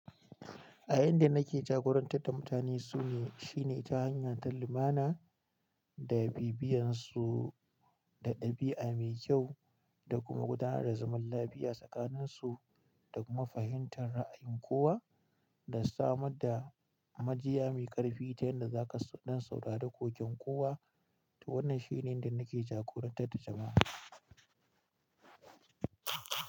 A inda nake jagorantar da mutane su ne, shine ta hanya ta lumana da bibiyansu da ɗabi'a mai kyau da kuma gudanar da zaman lafiya tsakaninsu da kuma fahimtar ra'ayin kowa da samar da majiya mai ƙarfi ta yadda zaka, dan saurare koken kowa. To wannan shine inda nake jagorantar da jama'a.